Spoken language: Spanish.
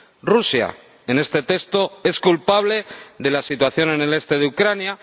Rusia, en este texto, es culpable de la situación en el este de Ucrania